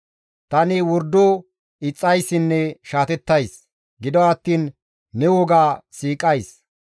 Tani wordo ixxayssinne shaatettays; gido attiin ne woga siiqays.